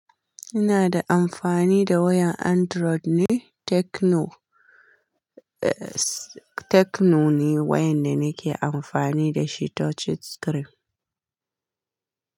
Ina da amfani da wayan Android ne, Tecno, eh Tecno ne wayan da nake amfani da shi touch screen.